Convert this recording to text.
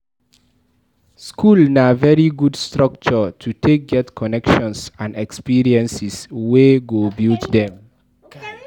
School na very good structure to take get connections and experiences wey go build dem